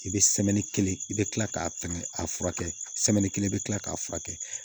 I bɛ kelen i bɛ kila k'a fɛn a furakɛ kelen bɛ kila k'a furakɛ